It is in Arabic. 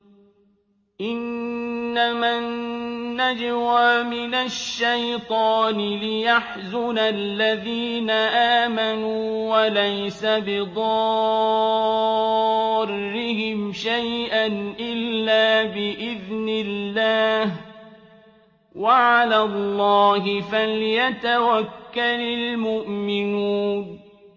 إِنَّمَا النَّجْوَىٰ مِنَ الشَّيْطَانِ لِيَحْزُنَ الَّذِينَ آمَنُوا وَلَيْسَ بِضَارِّهِمْ شَيْئًا إِلَّا بِإِذْنِ اللَّهِ ۚ وَعَلَى اللَّهِ فَلْيَتَوَكَّلِ الْمُؤْمِنُونَ